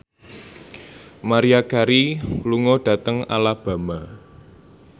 Maria Carey lunga dhateng Alabama